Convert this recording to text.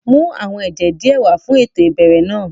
Mu àwọn ẹjẹ diẹ wà fun éto ìbẹrẹ náa!